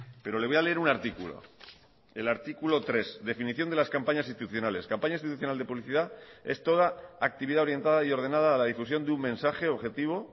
pero le voy a leer un artículo el artículo tres definición de las campañas institucionales campaña institucional de publicidad es toda actividad orientada y ordenada a la difusión de un mensaje objetivo